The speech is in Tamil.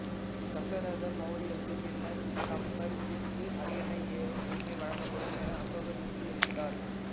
தசரத மௌரியருக்குப் பின்னர் சம்பிரதிக்கு அரியணை ஏறும் உரிமை வழங்கப்படும் என அசோகர் உறுதியளித்தார்